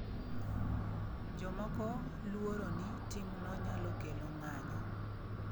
Jomoko luoro ni timno nyalo kelo ng’anyo